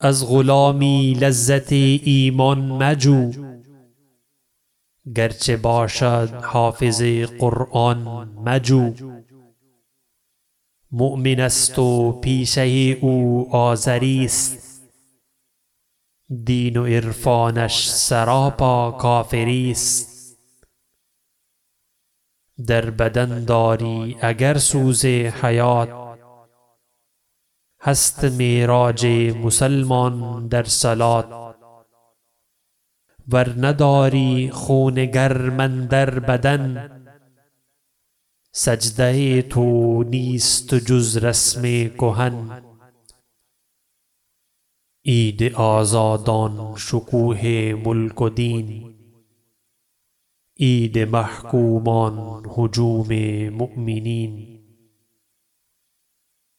از غلامی لذت ایمان مجو گرچه باشد حافظ قرآن مجو مؤمن است و پیشه او آزری است دین و عرفانش سراپا کافری است در بدن داری اگر سوز حیات هست معراج مسلمان در صلوت ور نداری خون گرم اندر بدن سجده تو نیست جز رسم کهن عید آزادان شکوه ملک و دین عید محکومان هجوم مؤمنین